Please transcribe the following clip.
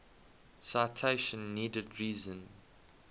citation needed reason